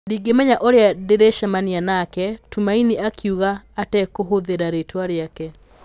'Ndingĩmenya ũrĩa ndĩrĩcemania nake,' Tumaini akiuga atekũhũthĩra rĩĩtwa rĩake. ''